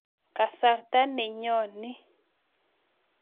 Kasarta nenyo ni